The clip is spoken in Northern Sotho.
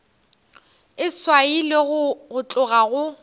e swailwe go tloga go